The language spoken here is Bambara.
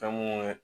Fɛn mun